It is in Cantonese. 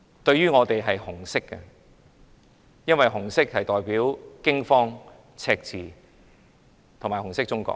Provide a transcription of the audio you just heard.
對我們來說，它是紅色的，因為紅色代表驚慌、赤字和紅色中國。